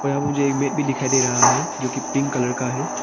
यहां मुझे मेट भी दिखाई दे रहा है जो की पिंक कलर का है।